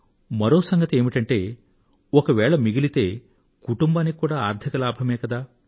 మరో సంగతి ఏమిటంటే ఒకవేళ మిగిలితే కుటుంబానికి కూడా ఆర్థిక లాభమే కదా